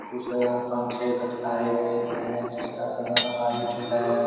कुछ पंखे लटकाए गए हैं जिसका कलर व्हाइट है।